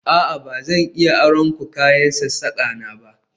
A'a ba zan iya aron ku kayan aikin sassaka na ba